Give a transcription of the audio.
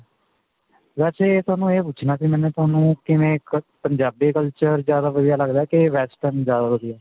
ਵੈਸੇ, ਤੁਹਾਨੂੰ ਇਹ ਪੁਛਣਾ ਸੀ ਤੁਹਾਨੂੰ ਕਿਵੇਂ ਇੱਕ ਪੰਜਾਬੀ culture ਜਿਆਦਾ ਵਧੀਆ ਲੱਗਦਾ ਕਿ western ਜਿਆਦਾ ਵਧੀਆ ਹੈ?